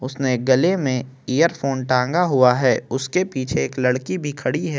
उसने गले में इयरफोन टांगा हुआ है उसके पीछे एक लड़की भी खड़ी हैं।